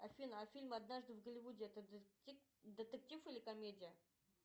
афина а фильм однажды в голливуде это детектив или комедия